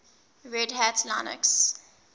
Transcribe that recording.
red hat linux